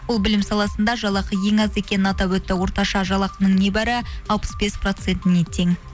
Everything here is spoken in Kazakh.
ол білім саласында жалақы ең аз екенін атап өтті орташа жалақының небәрі алпыс бес процентіне тең